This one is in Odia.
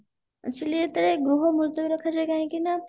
actually ଯେତେବେଳେ ଗୃହ ମୁତଲବୀ ରଖାଯାଏ କାହିଁକି ନା